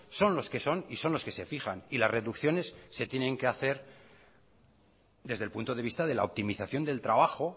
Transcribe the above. son los que son y son los que se fijan y las reducciones se tienen que hacer desde el punto de vista de la optimización del trabajo